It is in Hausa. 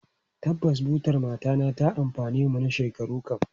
Tabbas, butar matana ta amfane mu na shekaru kam.